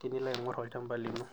tenilo aingor olchampa lino.